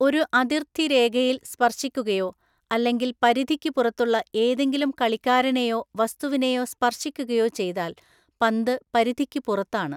ഒരു അതിര്‍ത്തി രേഖയില്‍ സ്പർശിക്കുകയോ അല്ലെങ്കിൽ പരിധിക്ക് പുറത്തുള്ള ഏതെങ്കിലും കളിക്കാരനെയോ വസ്തുവിനെയോ സ്പർശിക്കുകയോ ചെയ്താൽ പന്ത് പരിധിക്ക് പുറത്താണ്.